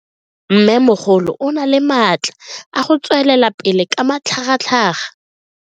Mmemogolo o na le matla a go tswelela pele ka matlhagatlhaga.